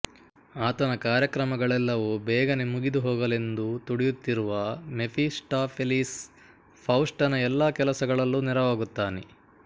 ಆತನ ಕಾರ್ಯಕ್ರಮಗಳೆಲ್ಲವೂ ಬೇಗನೆ ಮುಗಿದು ಹೋಗಲೆಂದು ತುಡಿಯುತ್ತಿರುವ ಮೆಫಿಸ್ಟಾಫೆಲೀಸ್ ಫೌಸ್ಟನ ಎಲ್ಲ ಕೆಲಸಗಳಲ್ಲೂ ನೆರವಾಗುತ್ತಾನೆ